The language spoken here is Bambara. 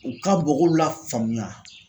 U ka mɔgɔw lafaamuya.